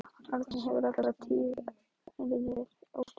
Árni hefur alla tíð verið ótrúlega kraftmikill.